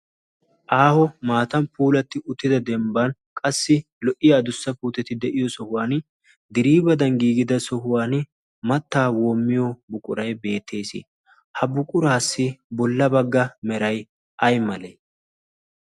aaho maatan puulatti uttida dembban qassi lo"iya dussapuuteti de'iyo sohuwan diriibadan giigida sohuwan mattaa woommiyo buqurai beettees. ha buquraassi bolla bagga meray ay malee?